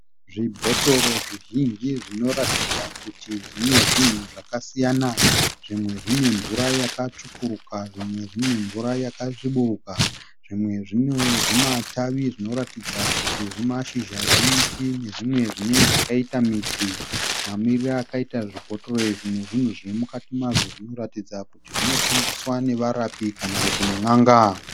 Zvibhotoro zvizhinji zvinotaridza kuti zvine zvinhu zvakasiyana. Zvimwe zvine mvura yakatsvukuruka zvimwe zvine mvura yakasviburuka. Zvimwe zvine zvimatavi zvinoratidza kuti zvimashizha zvemiti nezvimwe zvakaita zvimidzi. Mamirire akaita zvibhotoro izvi nezviri mukati mazvo zvinoratidza kuti zvinoshandiswa nevarapi kana nen'anga.